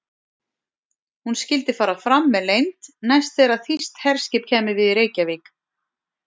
Hún skyldi fara fram með leynd, næst þegar þýskt herskip kæmi við í Reykjavík.